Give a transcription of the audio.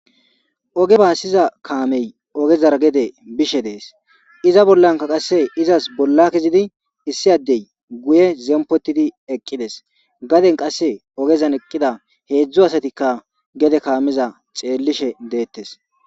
Oge baassiza kaamey ogezara gede bishe dees iza bollanka qasse izas bolla kezidi issi addey guye zempotidi eqqides gaden qasse ogezan eqqida heedzdzu asatikka gede kaamiza xeellishe deettes.